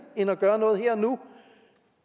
end at gøre noget her og nu